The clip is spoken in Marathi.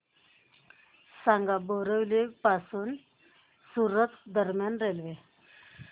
सांगा बोरिवली पासून सूरत दरम्यान रेल्वे